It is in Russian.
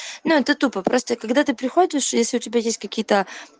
ну это тупо просто когда ты приходишь если у тебя есть какие-то